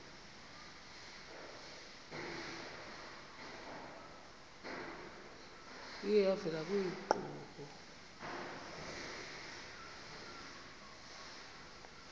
iye yavela kwiinkqubo